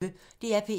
DR P1